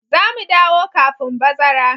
Za mu dawo kafin bazara.